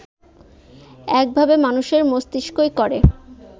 এককভাবে মানুষের মস্তিষ্কই করে